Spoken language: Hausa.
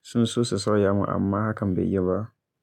sun so su sauya mun amma hakan bai yiwu ba.